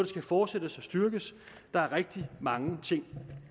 skal fortsættes og styrkes der er rigtig mange ting